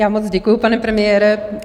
Já moc děkuji, pane premiére.